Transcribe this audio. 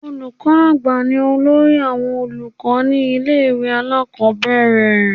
Olùkọ́ àgbà ni olórí àwọn olùkọ́ ní ilé ìwé alákọ̀ọ́bẹ̀rẹ̀